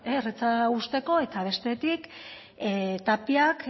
erretzea uzteko eta bestetik tapiak